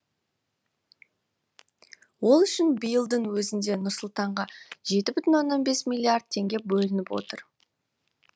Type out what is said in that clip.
ол үшін биылдың өзінде нұр сұлтанға жеті бүтін оннан бес миллиард теңге бөлініп отыр